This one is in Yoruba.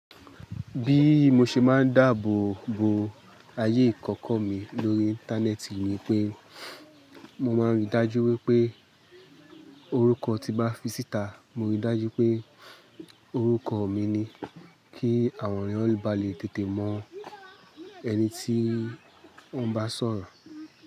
Bí mo ṣe máa ń dáàbò bo ayé ìkọ́kọ́ mi lórí Íńtánẹ́ẹ̀tì ni pé mo máa ń rí dájú wípé orúkọ tí bá fi síta, mo rí dájú pé orúkọ mi ni kí àwọn ènìyàn ba lè tètè mọ ẹni tí wọ́n bá sọ̀rọ̀